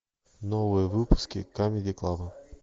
новые выпуски камеди клаба